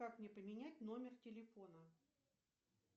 как мне поменять номер телефона